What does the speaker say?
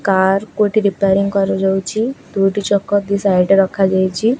Car କୁ ଏଠି repairing କରା ଯାଉଛି ଦୁଇଟି ଚକ ଦି ସାଇଡ ରେ ରଖା ଯାଇଚି।